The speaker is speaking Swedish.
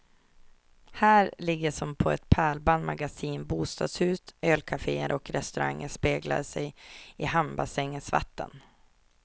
Här ligger som på ett pärlband magasin, bostadshus, ölcaféer och restauranger speglande sig i hamnbassängens vatten.